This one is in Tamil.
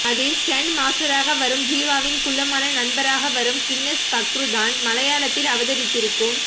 அதில் ஸ்டண்ட் மாஸ்டராக வரும் ஜீவாவின் குள்ளமான நண்பராக வரும் கின்னஸ் பக்ரு தான் மலையாளத்தில் அவதரித்திருக்கும்